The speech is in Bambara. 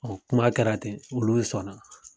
Ɔn kuma kɛra ten olu sɔnna.